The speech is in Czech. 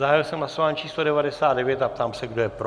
Zahájil jsem hlasování číslo 99 a ptám se, kdo je pro.